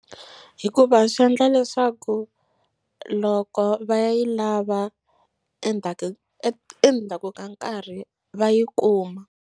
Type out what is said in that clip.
Hikuva swi endla leswaku loko va yi lava endzhaku endzhaku ka nkarhi va yi kuma.